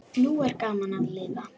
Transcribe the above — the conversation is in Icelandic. Nú er gaman að lifa!